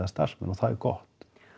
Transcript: starfsmenn og það er gott